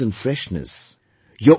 You will feel a certain freshness